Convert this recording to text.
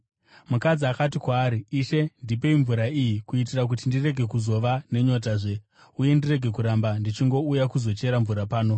Mukadzi akati kwaari, “Ishe, ndipei mvura iyi kuitira kuti ndirege kuzova nenyotazve uye ndirege kuramba ndichingouya kuzochera mvura pano.”